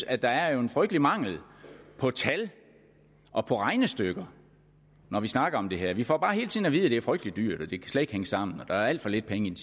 at der er en frygtelig mangel på tal og på regnestykker når vi snakker om det her vi får bare hele tiden at vide at det er frygtelig dyrt og at det slet hænge sammen og at der er alt for lidt penge i